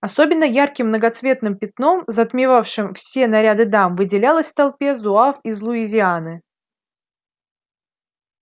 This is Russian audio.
особенно ярким многоцветным пятном затмевавшим все наряды дам выделялось в толпе зуав из луизианы